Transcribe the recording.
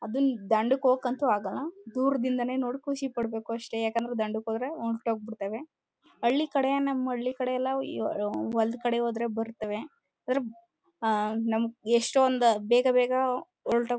ಅದು ದಂಡಕ್ಕೊಂತು ಹೋಗಕಾಗಲ್ಲ ದೂರ್ದಿಂದನೆ ನೋಡಿ ಖುಷಿಪಡಬೇಕು ಅಷ್ಟೇ ಯಾಕೆಂದ್ರೆ ದಂಡುಕ್ ಹೋದ್ರೆಹೊರಟು ಹೋಗುತ್ತೇವೆ ಹಳ್ಳಿ ಕಡೆ ನಮ್ಮ ಹಳ್ಳಿ ಕಡೆ ಎಲ್ಲಾ ಒಂದ್ ಕಡೆ ಹೋದ್ರೆ ಬರ್ತವೆ ನಮಗೆ ಎಷ್ಟು ಒಂದು ಬೇಗ ಬೇಗ ಹೊರಟು ಹೋಗುತ್ತೆ.